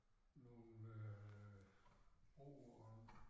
Nogle øh ord og